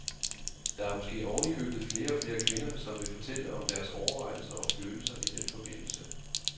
Der er måske oven i købet flere og flere kvinder, som vil fortælle om deres overvejelser og følelser i den forbindelse.